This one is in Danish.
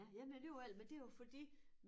Ja ja men alligevel men det jo fordi